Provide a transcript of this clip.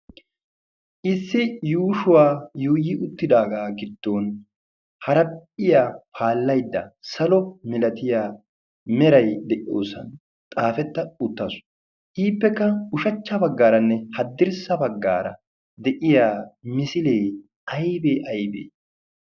issi yuushuwaa yuyi uttidaagaa giddon harapphiya paallaidda salo milatiya merai de77oosan xaafetta uttasu. iippekka ushachcha baggaaranne haddirssa baggaara de7iya misilee aibee aibee?